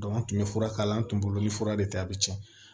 an tun bɛ fura k'a la an tun bolo ni fura de tɛ a bɛ tiɲɛ